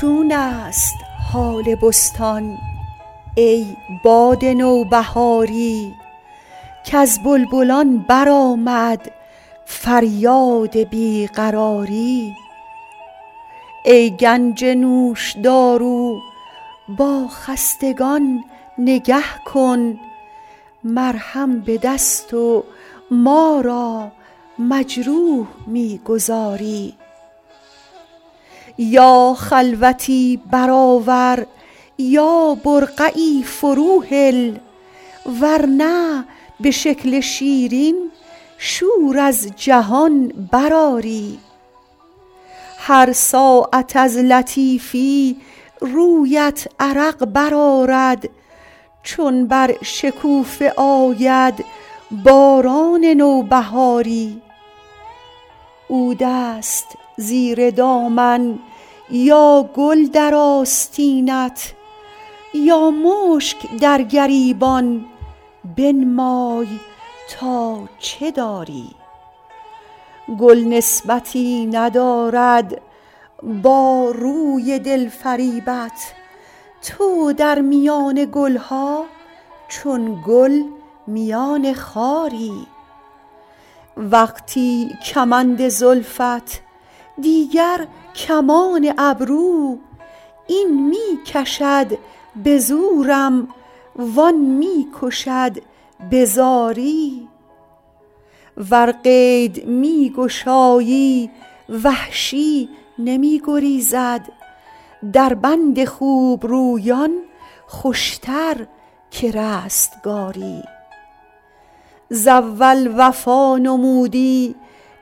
چون است حال بستان ای باد نوبهاری کز بلبلان برآمد فریاد بی قراری ای گنج نوشدارو با خستگان نگه کن مرهم به دست و ما را مجروح می گذاری یا خلوتی برآور یا برقعی فروهل ور نه به شکل شیرین شور از جهان برآری هر ساعت از لطیفی رویت عرق برآرد چون بر شکوفه آید باران نوبهاری عود است زیر دامن یا گل در آستینت یا مشک در گریبان بنمای تا چه داری گل نسبتی ندارد با روی دل فریبت تو در میان گل ها چون گل میان خاری وقتی کمند زلفت دیگر کمان ابرو این می کشد به زورم وآن می کشد به زاری ور قید می گشایی وحشی نمی گریزد در بند خوبرویان خوشتر که رستگاری ز اول وفا نمودی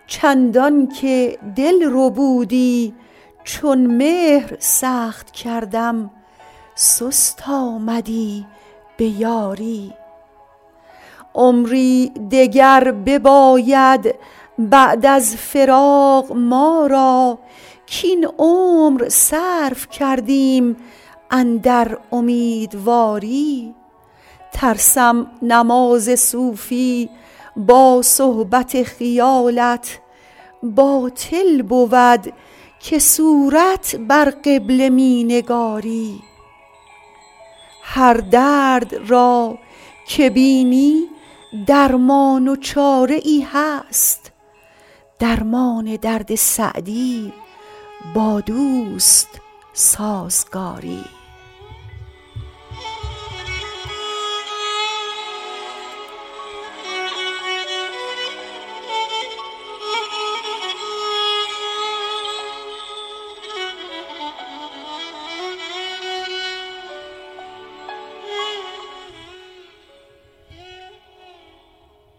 چندان که دل ربودی چون مهر سخت کردم سست آمدی به یاری عمری دگر بباید بعد از فراق ما را کاین عمر صرف کردیم اندر امیدواری ترسم نماز صوفی با صحبت خیالت باطل بود که صورت بر قبله می نگاری هر درد را که بینی درمان و چاره ای هست درمان درد سعدی با دوست سازگاری